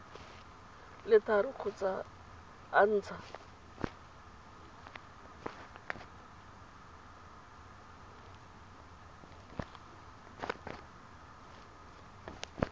le tharo kgotsa a ntsha